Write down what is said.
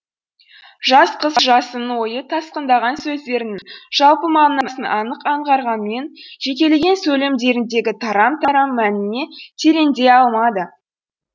жас қыз жасынның ойы тасқындаған сөздерінің жалпы мағынасын анық аңғарғанмен жекелеген сөйлемдеріндегі тарам тарам мәніне тереңдей алмады